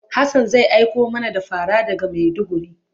Hassan zai aiko mana da fara daga Maiduguri.